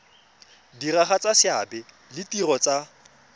diragatsa seabe le ditiro tsa